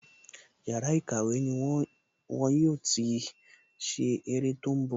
Yàrá ìkàwé ni wọn yóò ti ṣe ère tó ń bọ̀